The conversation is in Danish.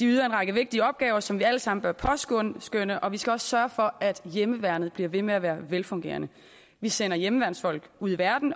de løser en række vigtige opgaver som vi alle sammen bør påskønne påskønne og vi skal også sørge for at hjemmeværnet bliver ved med at være velfungerende vi sender hjemmeværnsfolk ud i verden